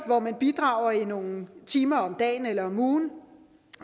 hvor man bidrager i nogle timer om dagen eller om ugen